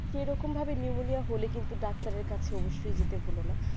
সেই রকম pneumonia হলে কিন্তু doctor ওষুধ নিতে ভুলে না